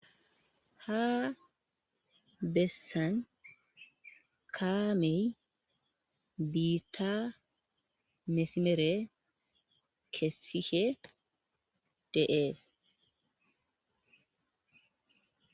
ha bessan kaamey biitta mesimere kessihe deees